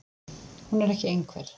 Hún er ekki einhver.